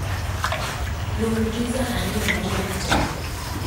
Lung pizza ariyo mawuok java